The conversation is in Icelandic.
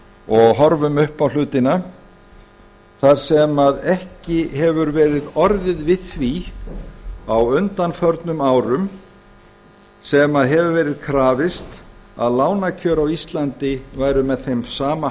og horfum upp á hlutina þar sem ekki hefur verið orðið við því á undanförnum árum sem hefur verið krafist að lánakjör á íslandi væru með þeim sama